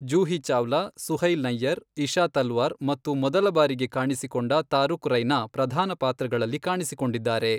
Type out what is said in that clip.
ಜೂಹಿ ಚಾವ್ಲಾ, ಸುಹೈಲ್ ನಯ್ಯರ್, ಇಶಾ ತಲ್ವಾರ್ ಮತ್ತು ಮೊದಲಬಾರಿಗೆ ಕಾಣಿಸಿಕೊಂಡ ತಾರುಕ್ ರೈನಾ ಪ್ರಧಾನ ಪಾತ್ರಗಳಲ್ಲಿ ಕಾಣಿಸಿಕೊಂಡಿದ್ದಾರೆ.